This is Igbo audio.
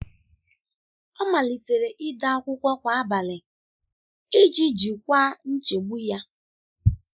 Ọ malitere ide akwụkwọ kwa abalị iji jikwaa nchegbu ya.